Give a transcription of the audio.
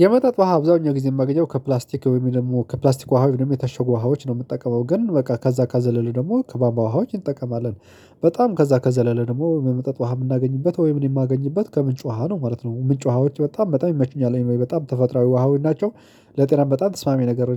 የመጠጥ ውሃ አብዛኛው ጊዜ የማገኘው ከፕላስቲክ ወይም ደግሞ ከፕላስቲክ ውሃ ወይም ደግሞ የታሸጉ ውሃዎች ነው የምጠቀመው ግን በቃ ከዛ ከዘለለ ደግሞ ከቧንቧ ውሃዎች እንጠቀማለን። በጣም ከዛ ከዘለለ ደግሞ በመጠጥ ውሃ የምናገኝበት ወይም እኔ የማገኝበት ከምንጭ ውሃ ነው ማለት ነው። ምንጭ ውሃዎች በጣም በጣም ይመቹኛል ወይ በጣም ተፈጥሯዊ ውሃዎች ናቸው። ለጤናም በጣም ተስማሚ ነገር